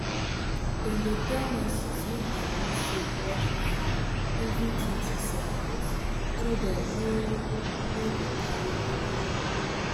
dem dey tell nurses make dem use soap wash hand everitwentyseconds so dem no no go carry wahala.